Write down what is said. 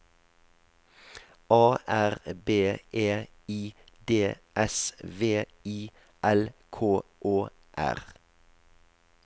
A R B E I D S V I L K Å R